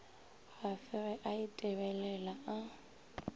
gafe ge a itebelela a